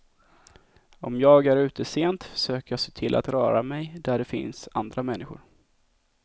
Om jag är ute sent, försöker jag se till att röra mig där det finns andra människor.